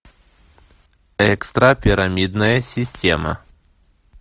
экстрапирамидная система